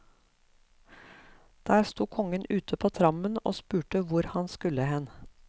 Der sto kongen ute på trammen og spurte hvor han skulle hen.